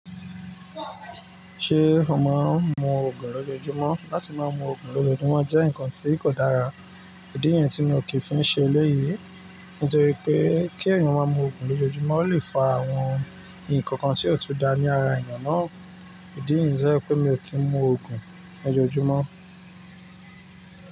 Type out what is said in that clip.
Ṣé o máa ń mu òògùn lójoojúmọ́? Látí máa mú òògùn lójoojúmọ́ jẹ́ nkan tí kò dára. Ìdí yẹn tí mi ò kí fiń ṣe eléyìí. Nítorí pé kí èèyàn máa mú òògùn lójoojúmọ́ ó lè fa àwọn nǹkan kan tí ò tú da ní ara èèyàn náà. Ìdí niyi jẹ́ pé mi ò kí ń mú òògùn lójojúmọ́